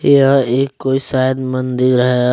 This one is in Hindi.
यह एक कोई शायद मंदिर है।